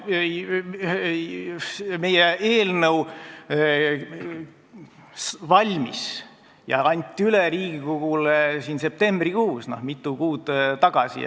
Meie eelnõu valmis ja anti Riigikogule üle septembrikuus, mitu kuud tagasi.